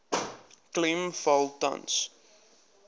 klem val tans